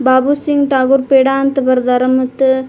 ಬಾಗು Singh tower ಪೇಡಾ ಅಂತ ಬರದರ್ ಮತ್ತ --